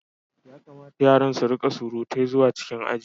Ya kamata yaran su rika surutai zuwa cikin aji.